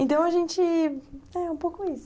Então, a gente... é um pouco isso.